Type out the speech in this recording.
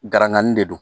Garangani de don